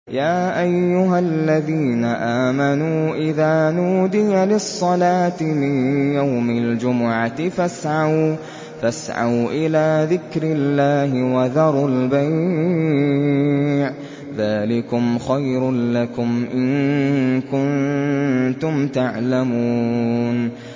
يَا أَيُّهَا الَّذِينَ آمَنُوا إِذَا نُودِيَ لِلصَّلَاةِ مِن يَوْمِ الْجُمُعَةِ فَاسْعَوْا إِلَىٰ ذِكْرِ اللَّهِ وَذَرُوا الْبَيْعَ ۚ ذَٰلِكُمْ خَيْرٌ لَّكُمْ إِن كُنتُمْ تَعْلَمُونَ